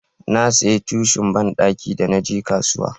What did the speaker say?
na saya tishun banɗaki da naje kasuwa